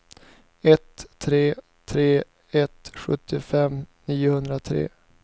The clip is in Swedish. ett tre tre ett sextiofem niohundratre